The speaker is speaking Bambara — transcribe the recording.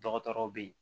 Dɔgɔtɔrɔw bɛ ye